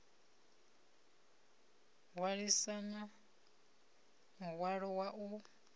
o hwalisana muhwalo wa u